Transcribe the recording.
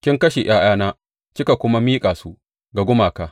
Kin kashe ’ya’yana kika kuma miƙa su ga gumaka.